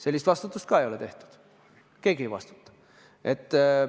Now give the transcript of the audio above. Sellist vastutust ka ei ole sätestatud, keegi ei vastuta.